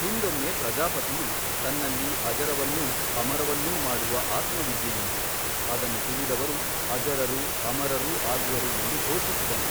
ಹಿಂದೊಮ್ಮೆ ಪ್ರಜಾಪತಿಯು ತನ್ನಲ್ಲಿ ಅಜರವನ್ನೂ ಅಮರವನ್ನೂ ಮಾಡುವ ಆತ್ಮವಿದ್ಯೆಯುಂಟು ಅದನ್ನು ತಿಳಿದವರು ಅಜರರೂ ಅಮರರೂ ಆಗುವರು ಎಂದು ಘೋಷಿಸಿದನು.